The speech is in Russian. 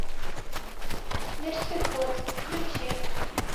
мертвеход включи